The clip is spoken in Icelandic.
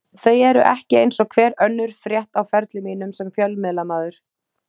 Þau eru ekki eins og hver önnur frétt á ferli mínum sem fjölmiðlamaður.